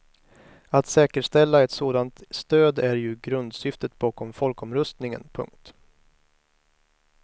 Att säkerställa ett sådant stöd är ju grundsyftet bakom folkomröstningen. punkt